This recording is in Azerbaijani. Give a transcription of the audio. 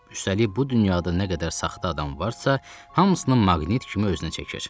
Üstəlik bu dünyada nə qədər saxta adam varsa, hamısını maqnit kimi özünə çəkir.